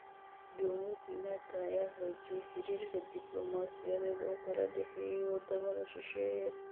Jomo Kenyatta ayaa xoojisay xiriirka diblumaasiyadeed ee kala dhaxeeya wadamada shisheeye.